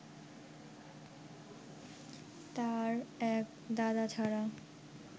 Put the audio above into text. তাঁর এক দাদা ছাড়া